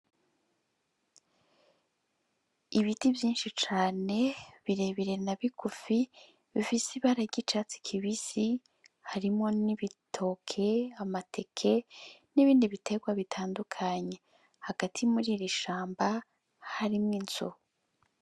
Ibiti vyinshi cane birebire na bigufi bifise ibara ry'icatsi kibisi harimwo n'ibitoke, amateke nibindi biterwa bitandukanye hagati muri iri shamba harimwo inzu.